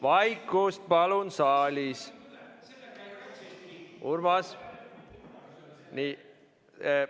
Vaikust palun saalis!